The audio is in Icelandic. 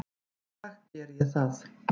Í dag geri ég það.